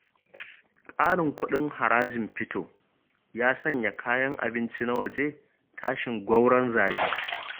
Ƙarin kuɗin harajin fito, ya sanya kayan abinci na waje tashin-gwauron-zabi.